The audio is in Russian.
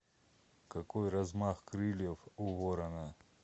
какой размах крыльев у ворона